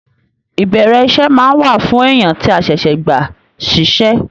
Ìbẹrẹ iṣẹ máa n wà fún èèyàn tí a ṣẹṣẹ gbà ṣiṣẹ.